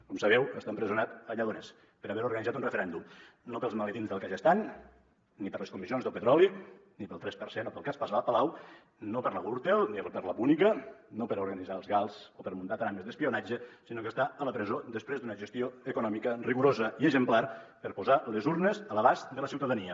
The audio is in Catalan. com sabeu està empresonat a lledoners per haver organitzat un referèndum no pels maletins del kazakhstan ni per les comissions del petroli ni pel tres per cent o pel cas palau no per la gürtel ni per la púnica no per organitzar els gals o per muntar trames d’espionatge sinó que està a la presó després d’una gestió econòmica rigorosa i exemplar per posar les urnes a l’abast de la ciutadania